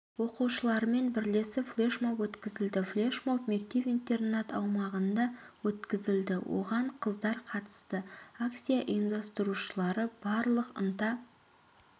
оқушыларымен бірлесіп флешмоб өткізілді флешмоб мектеп-интернат аумағында өткізілді оған қыздар қатысты акция ұйымдастырушылары барлық ынта